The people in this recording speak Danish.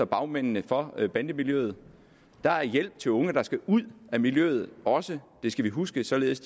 bagmændene for bandemiljøet der er hjælp til unge der skal ud af miljøet også det skal vi huske således